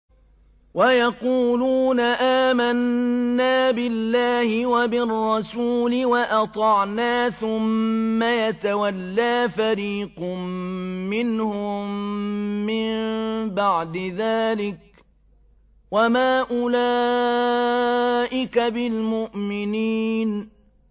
وَيَقُولُونَ آمَنَّا بِاللَّهِ وَبِالرَّسُولِ وَأَطَعْنَا ثُمَّ يَتَوَلَّىٰ فَرِيقٌ مِّنْهُم مِّن بَعْدِ ذَٰلِكَ ۚ وَمَا أُولَٰئِكَ بِالْمُؤْمِنِينَ